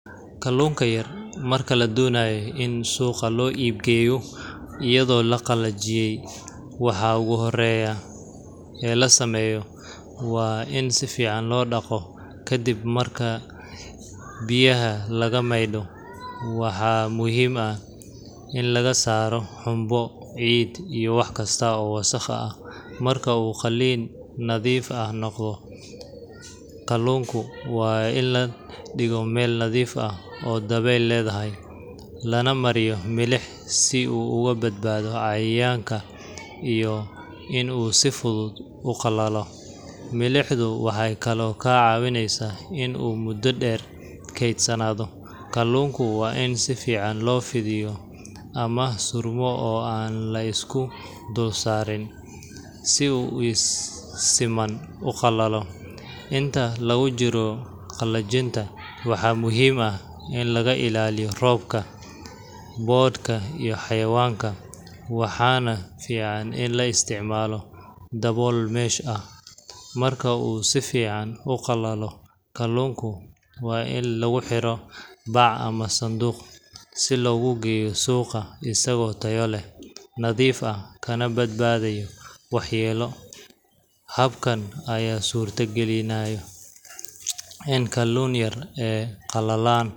Kalluunka yar marka la doonayo in suuqa loo iib geeyo iyadoo la qalajiyey, waxa ugu horreeya ee la sameeyo waa in si fiican loo dhaqo. Kadib marka biyaha laga maydho, waxaa muhiim ah in laga saaro xumbo, ciid, iyo wax kasta oo wasakh ah. Marka uu qalliin nadiif ah noqdo, kalluunku waa in la dhigo meel nadiif ah oo dabayl leedahay, lana mariyo milix si uu uga badbaado cayayaanka iyo in uu si fudud u qalalo. Milixdu waxay kaloo kaa caawinaysaa in uu muddo dheer kaydsanaado. Kalluunku waa in si fiican loo fidiyo ama surmo oo aan la isku dul saarin, si uu si siman u qalalo. Inta lagu jiro qalajinta, waxaa muhiim ah in laga ilaaliyo roobka, boodhka iyo xayawaanka, waxaana fiican in la isticmaalo dabool mesh ah. Marka uu si fiican u qalalo, kalluunka waa in lagu xiro bac ama sanduuq, si loogu geeyo suuqa isagoo tayo leh, nadiif ah, kana badbaaday waxyeelo. Habkan ayaa suurtagelinaya in kalluunka yar ee qalalan.